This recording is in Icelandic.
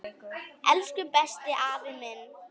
Elsku besti, afi minn.